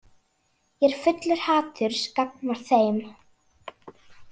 Ég er fullur haturs gagnvart þeim.